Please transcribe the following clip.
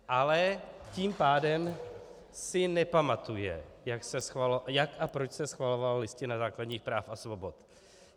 Ale tím pádem si nepamatuje, jak a proč se schvalovala Listina základních práv a svobod.